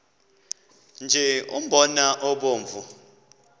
nje umbona obomvu